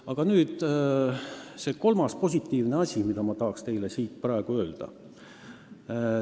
Aga nüüd üks positiivne sõnum, mida ma tahaksin teile praegu rõhutada.